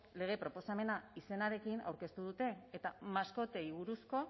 lege proposamena izenarekin aurkeztu dute eta maskotei buruzko